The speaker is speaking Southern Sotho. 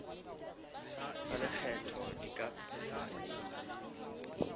tsa lekgetho di ka phethahatswa